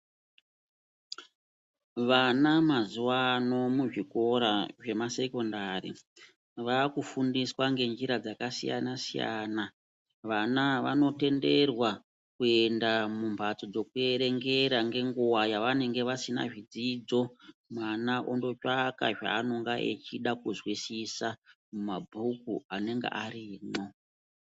Vana mazuva ano muzvikora zvemasekondari vaakufundiswa ngenjira dzakasiyana-siyana. Vana ava vanotenderwa kuenda mumbatso dzekuerengera ngenguva yavanenge vasina zvidzidzo. Mwana ondotsvaka zvaanenge achida kuzwisisa mumabhuku anenge arimwo.